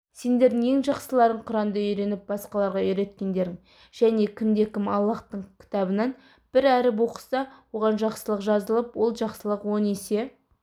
сендердің ең жақсыларың құранды үйреніп басқаларға үйреткендерің және кімде-кім аллаһтың кітабынан бір әріп оқыса оған жақсылық жазылып ол жақсылық он есе